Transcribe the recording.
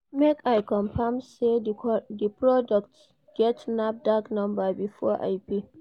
Make I confirm sey di product get NAFDAC number before I pay.